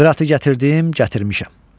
Qıratı gətirdim, gətirmişəm.